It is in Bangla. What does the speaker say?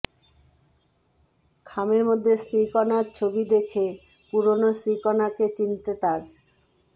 খামের মধ্যে শ্রীকণার ছবি দেখে পুরনো শ্রীকণাকে চিনতে তাঁর